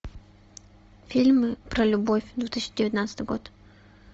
фильмы про любовь две тысячи девятнадцатый год